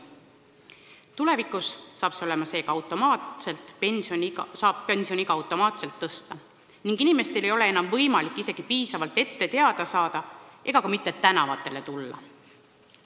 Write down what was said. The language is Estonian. Tulevikus saab seega pensioniiga automaatselt tõsta ning inimestel ei ole enam võimalik isegi sellest piisavalt ette teada saada ega ka mitte tänavatele tulla.